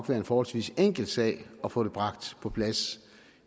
være en forholdsvis enkel sag at få det bragt på plads